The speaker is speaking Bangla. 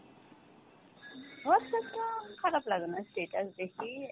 Whatsapp টা খারাপ লাগে না, status দেখি।